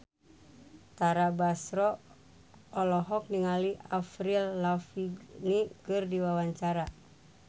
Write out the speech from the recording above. Tara Basro olohok ningali Avril Lavigne keur diwawancara